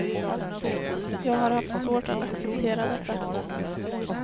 Jag har haft svårt att acceptera detta.